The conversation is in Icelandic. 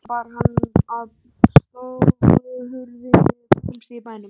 Að lokum bar hann að stofuhurðinni fremst í bænum.